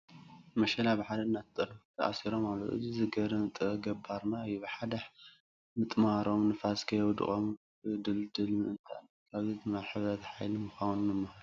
መሸላ ብሓደ እናተጠርነፉ ተኣሲሮም ኣለዉ፡፡ እዚ ዝገርም ጥበብ ገባርና እዩ፡፡ ብሓደ ምጥማሮም ንፋስ ከየውድቖም ንኽድልድሉ ምእንታን እዩ፡፡ ካብዚ ድማ ሕብረት ሓይሊ ምዃኑ ንመሃር፡፡